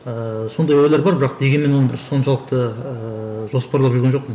ыыы сондай ойлар бар бірақ дегенмен оны бір соншалықты ыыы жоспарлап жүрген жоқпын